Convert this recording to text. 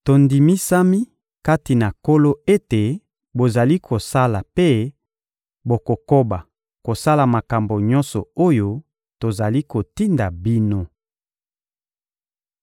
Tondimisami kati na Nkolo ete bozali kosala mpe bokokoba kosala makambo nyonso oyo tozali kotinda bino.